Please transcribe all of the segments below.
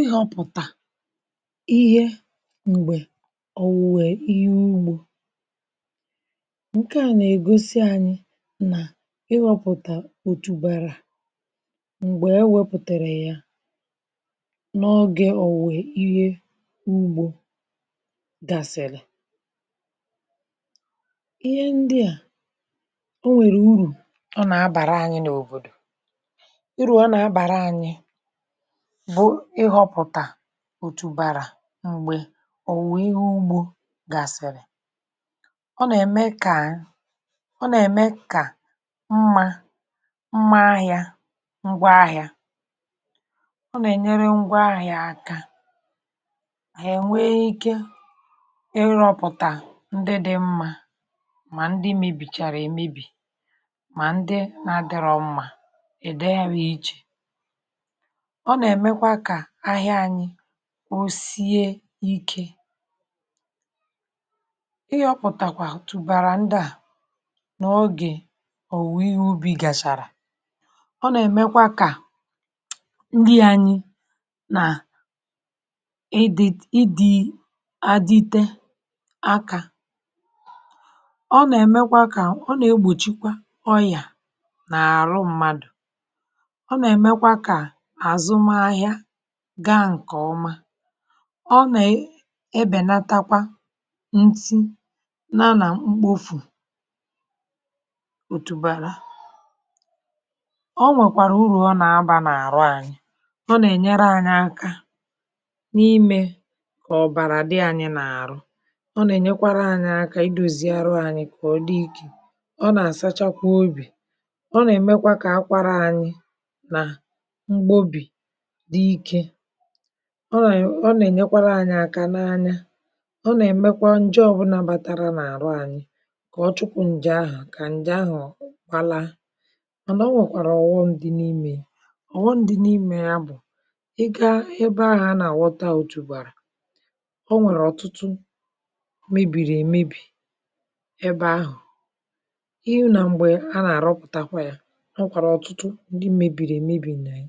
Ị họ̇pụ̀tà ihe m̀gbè òwùwè ihe ugbȯ. ǹke à nà-ègosi ànyị nà ihọ̇pụ̀tà òtùbàrà m̀gbè e wepụ̀tàrà yȧ n’ogė òwùwè ihe ugbȯ gasị̀rị̀. Ịhe ndịà o nwèrè urù ọ nà-abàra anyị n’òbòdò, uru ọ nà-abàra anyị bụ ihọpụta òtù bàrà m̀gbè òwùwè ihe ugbȯ gàsị̀rị̀, ọ nà-ème kà ọ nà-ème kà mmȧ mmȧ ahịȧ ngwa ahịȧ, ọ nà-ènyere ngwa ahịȧ aka hà ènwee ike irọ̇pụ̀tà ndị dị̇ mmȧ, mà ndị mebìchàrà èmebì mà ndị na-adịrọ mmȧ è dewe ya ichè, ọ nà-èmekwa ka ahia ȧnyị̇, o sie ikė. ihọ̀pụ̀tàkwà tụ̀bàrà ndị à n’ogè òwuwe ihe ubì gàchàrà, ọ nà-èmekwa kà nni anyi nà ịdị̇ ịdị̇ àdịte akȧ, ọ nà-èmekwa kà, ọ nà-egbòchikwa ọyà n’àrụ mmadù, ọ nà emekwa ka azụmahia gaa nkeọma. Ọ na ebènatakwa nti na nà mkpofù òtùbàrà. O nwèkwàrà urù ọ nà-abȧ n’àrụ ànyị; ọ nà-ènyere anyị akȧ n’imė kà ọ̀bàrà dị anyị n’àrụ, ọ nà-ènyekwara anyị akȧ idòzi arụ anyị kà ọ dị ike, ọ nà-àsachakwa obì, ọ nà-èmekwa kà akwara anyị na mgbobi di ike, ọ na e ọ nà-ènyekwara anyị̇ aka n’anya, ọ nà-èmekwa ǹje ọbụnà batara n’àrụ anyị kà ọ chupu ǹjè ahụ̀, kà ǹjè ahụ̀ gbalaa, mànà o nwèkwàrà ọ̀ghọm ndị n’imė ya, ọ̀ghọm ndị n’imė ya bụ̀: ị gȧa ebe ahụ̀ a nà-àghọta òtùbàrà, o nwèrè ọ̀tụtụ mebìrì èmebì ebe ahụ̀, ị hu nà m̀gbè a nà-àrọpụ̀takwa ya, o nwèkwàrà ọ̀tụtụ ndị m̀mebìrì èmebì nà ya,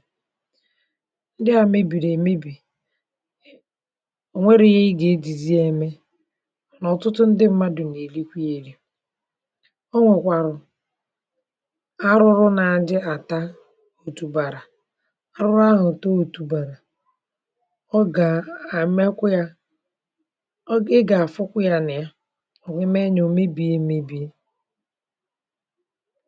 ndị a mebiri emebi ọ̀ nwẹrọ ihe ị gà-ejizi ya eme, nà ọ̀tụtụ ndị mmadù nà èrikwe ya eri̇. o nwẹ̀kwàrò arụrụ na adị àta òtùbàrà, arụrụ ahụ̀ taa òtùbàrà ọ gà àmmekwa ya, ị gà-afukwa ya nà ya, ọ̀ nwẹe mẹ nyȧ o mebìe mebìe.e